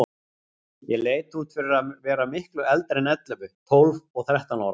Ég leit út fyrir að vera miklu eldri en ellefu, tólf og þrettán ára.